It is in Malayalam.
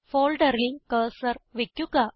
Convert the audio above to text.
ഫോൾഡറിൽ കർസർ വയ്ക്കുക